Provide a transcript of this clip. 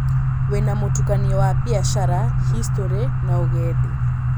Wĩna mũtukanio wa biacara, historĩ, na ũgendi.